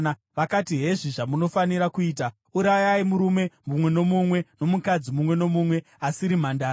Vakati, “Hezvi zvamunofanira kuita: Urayai murume mumwe nomumwe nomukadzi mumwe nomumwe asiri mhandara.”